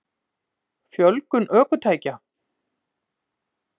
Fjölgun ökutækja?